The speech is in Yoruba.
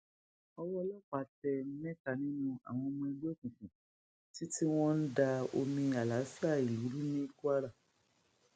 owó ọlọpàá ti tẹ mẹta nínú àwọn ọmọ ẹgbẹ òkùnkùn tí tí wọn ń da omi àlàáfíà ìlú rú ní kwara